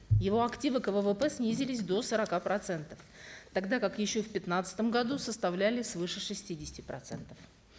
его активы к ввп снизились до сорока процентов тогда как еще в пятнадцатом году составляли свыше шестидесяти процентов